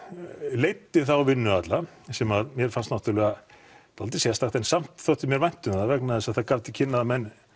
leiddi þá vinnu alla sem mér fannst nátturulega dáldið sérstakt en samt þótti mér vænt um það vegna þess að það gaf til kynna að menn